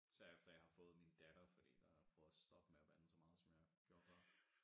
Især efter jeg har fået min datter fordi der har jeg prøvet at stoppe med at bande så meget som jeg gjorde før